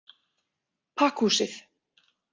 Pakkhúsið